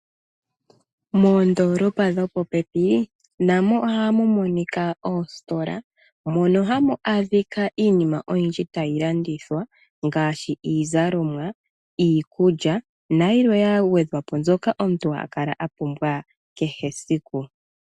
Moondoolopa dhopopepi namo ohamu monika oositola. Mono hamu adhika iinima oyindji tayi landithwa ngaashi iizalomwa, iikulya nayilwe ya gwedhwa po mbyoka omuntu hakale a pumbwa kehe esiku.